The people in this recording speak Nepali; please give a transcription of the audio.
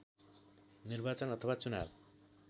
निर्वाचन अथवा चुनाव